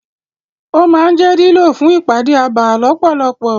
Ó máa ń jẹ́ lílò fún ìpàdé abà lọ́pọ̀lọpọ̀.